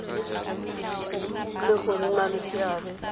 le go nna le seabe